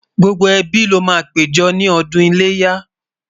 gbógbó ẹbí ló má pé jọ ní ọdún iléyá